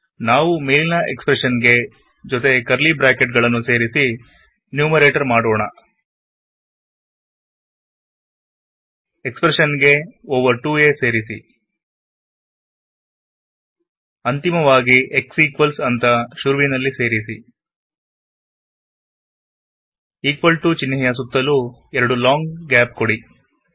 ಈ ಮೇಲಿನ ಎಕ್ಸ್ಪ್ರೆಷನ್ ನನ್ನು ಜೊತೆ ಕರ್ಲಿ ಬ್ರಾಕೆಟ್ ಗಳನ್ನು ಸೇರಿಸಿ ನ್ಯೂಮರೇಟರ್ ಮಾಡೋಣ ಎಕ್ಸ್ಪ್ರೆಷನ್ ಗೆ ಓವರ್ 2ಆ ಸೇರಿಸಿ ಅಂತಿಮವಾಗಿ x ಈಕ್ವಲ್ಸ್ ಅಂತ ಶುರುವಿನಲ್ಲಿ ಸೇರಿಸಿ ಇಕ್ವಾಲ್ ಟಿಒ ಚಿನ್ಹೆ ಯ ಸುತ್ತಲೂ ಎರಡು ಲಾಂಗ್ ಗ್ಯಾಪ್ ಕೊಡಿ